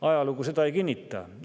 Ajalugu seda ei kinnita.